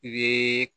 I bɛ